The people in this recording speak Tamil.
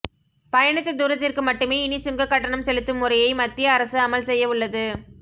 பயணித்த தூரத்திற்கு மட்டுமே இனி சுங்க கட்டணம் செலுத்தும் முறையை மத்திய அரசு அமல் செய்ய உள்ளது